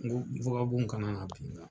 N ko wakabɔnw ka na na bin n kan.